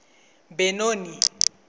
benoni